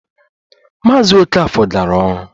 Maazị Okafor gara ọrụ